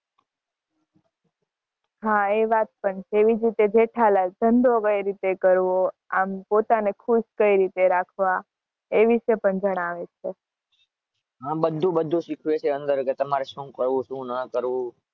હા એ વાત પણ છે.